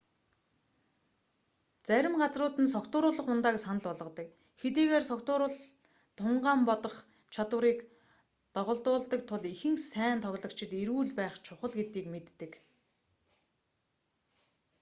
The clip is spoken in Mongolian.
зарим газрууд нь согтууруулах ундааг санал болгодог хэдийгээр согтуурал тунгаан бодох чадварыг доголдуулдаг тул ихэнх сайн тоглогчид эрүүл байх чухал гэдгийг мэддэг